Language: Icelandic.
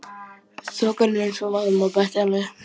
Þokan er eins og vaðmál, bætti hann við.